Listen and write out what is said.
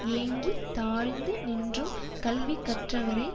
ஏங்கித் தாழ்ந்து நின்றும் கல்விக் கற்றவரே